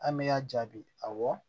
An bɛ y'a jaabi awɔ